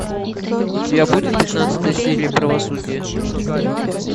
у тебя будет пятнадцатая серия правосудия